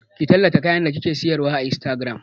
Ki tallata kayan da kike sayarwa a Instagram!